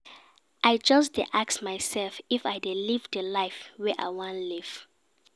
I just dey ask mysef if I dey live di life wey I wan live.